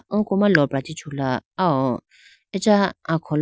oko ma lopra chee chula awo acha akholo.